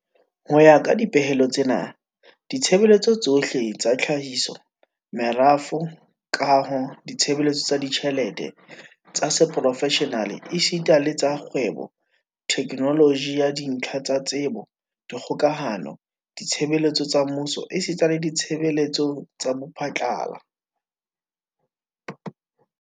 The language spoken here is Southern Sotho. Ho ya ka dipehelo tsena, ditshebeletso tsohle tsa tlhahiso, merafo, kaho, ditshebeletso tsa ditjhelete, tsa seprofeshenale esita le tsa kgwebo, theknoloji ya dintlha tsa tsebo, dikgokahano, ditshebeletso tsa mmuso esita le ditshebeletso tsa bophatlala